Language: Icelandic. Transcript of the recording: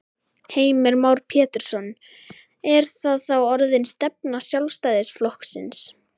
Heimir Már Pétursson: Er það þá orðin stefna Sjálfstæðisflokksins?